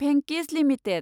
भेंकिस limited